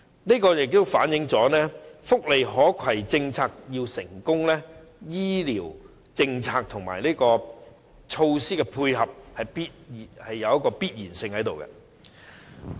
調查結果反映，福利可攜政策要成功，醫療政策和措施的配合是有必要的。